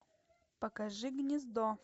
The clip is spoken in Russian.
покажи гнездо